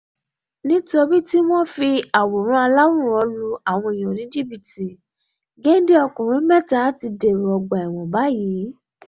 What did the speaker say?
nítorí tí wọ́n ń fi àwòrán aláwòrán lu àwọn èèyàn ní jìbìtì géńdé ọkùnrin mẹ́ta ti dèrò ọgbà ẹ̀wọ̀n báyìí